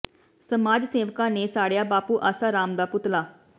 ਸਮਾਜ਼ ਸੇਵਕਾਂ ਨੇ ਸਾੜਿਆ ਬਾਪੂ ਆਸਾ ਰਾਮ ਦਾ ਪੁਤਲਾ